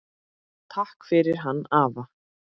Takk fyrir hann afa.